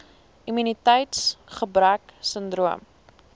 immuniteits gebrek sindroom